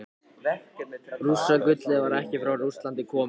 Rússagullið var ekki frá Rússlandi komið.